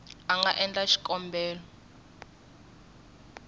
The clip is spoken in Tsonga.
a nga endla xikombelo xo